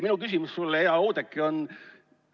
Minu küsimus sulle, hea Oudekki, on selline.